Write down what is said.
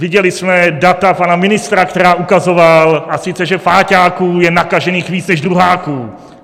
Viděli jsme data pana ministra, která ukazoval, a sice že páťáků je nakažených více než druháků.